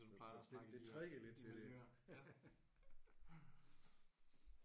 Det det det trækker lidt i mine ører